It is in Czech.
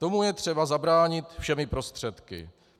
Tomu je třeba zabránit všemi prostředky.